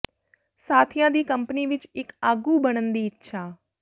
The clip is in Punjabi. ਸਾਥੀਆਂ ਦੀ ਕੰਪਨੀ ਵਿਚ ਇਕ ਆਗੂ ਬਣਨ ਦੀ ਇੱਛਾ